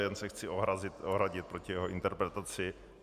Jen se chci ohradit proti jeho interpretaci.